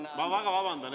Ma väga vabandan!